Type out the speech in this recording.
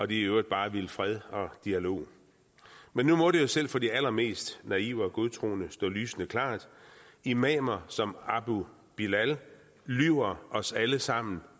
de i øvrigt bare vil fred og dialog men nu må det selv for de allermest naive og godtroende stå lysende klart imamer som abu bilal lyver os alle sammen